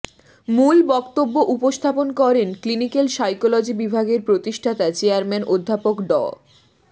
মূল বক্তব্য উপস্থাপন করেন ক্লিনিক্যাল সাইকোলজি বিভাগের প্রতিষ্ঠাতা চেয়ারম্যান অধ্যাপক ড